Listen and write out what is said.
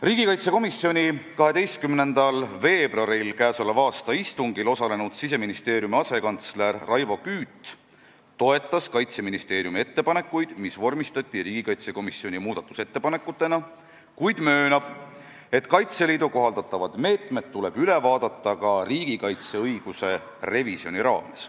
Riigikaitsekomisjoni k.a 12. veebruari istungil osalenud Siseministeeriumi asekantsler Raivo Küüt toetas Kaitseministeeriumi ettepanekuid, mis vormistati riigikaitsekomisjoni muudatusettepanekutena, kuid möönab, et Kaitseliidu kohaldatavad meetmed tuleb üle vaadata ka riigikaitseõiguse revisjoni raames.